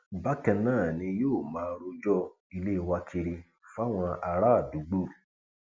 bákan náà ni yóò máa rọjò ilé wa kiri fáwọn àràádúgbò